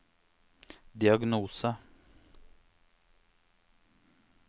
diagnose